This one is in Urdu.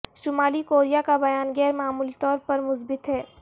شمالی کوریا کا بیان غیر معمولی طور پر مثبت ہے